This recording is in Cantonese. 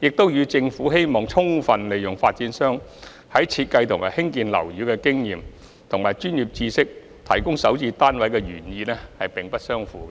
亦與政府希望充分利用發展商在設計和興建樓宇的經驗及專業知識提供首置單位的原意並不相符。